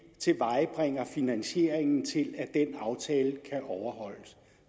finansieringen til at den aftale kan overholdes